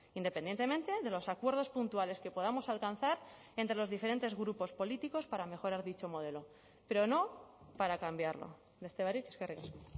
independientemente de los acuerdos puntuales que podamos alcanzar entre los diferentes grupos políticos para mejorar dicho modelo pero no para cambiarlo beste barik eskerrik asko